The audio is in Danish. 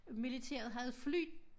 Militæret havde fly